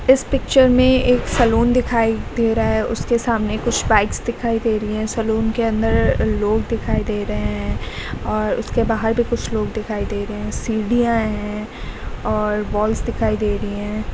इस पिक्चर में एक सलून दिखाई दे रहा है उसके सामने कुछ बाइक्स दिखाई दे रही हैं सलोन के अंदर लोग दिखाई दे रहे हैं और उसके बाहर भी कुछ लोग दिखाई दे रहे हैं सीढ़ियां हैं और वॉल्स दिखाई दे रही हैं।